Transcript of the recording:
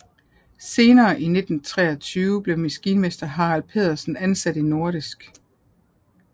Senere i 1923 blev maskinmester Harald Pedersen ansat i Nordisk